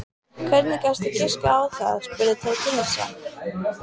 Hvernig gastu giskað á það? spurði Tóti hissa.